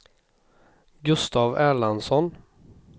Gustav Erlandsson